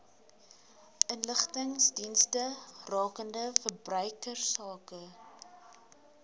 inligtingsdienste rakende verbruikersake